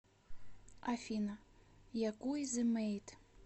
афина якуй зэ мэйд